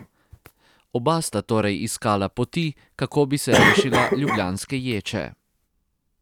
Oba sta torej iskala poti, kako bi se rešila ljubljanske ječe.